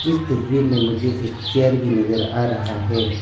इस तस्वीर में मुझे एक चेयर भी नजर आ रहा है।